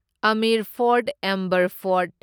Amir fort Amber fort